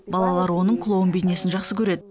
балалар оның клоун бейнесін жақсы көреді